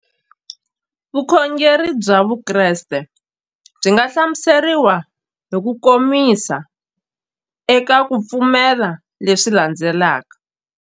Vukhongeri bya Vukreste byi nga hlamuseriwa hi kukomisa eka ku pfumela leswi landzelaka.